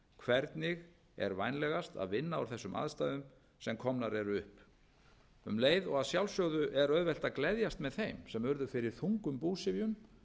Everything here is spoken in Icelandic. hvernig er vænlegast að vinna úr þessum aðstæðum sem komnar eru upp um leið og að sjálfsögðu er auðvelt að gleðjast með þeim sem urðu fyrir þungum búsifjum